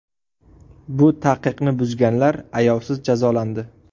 Bu taqiqni buzganlar ayovsiz jazolandi.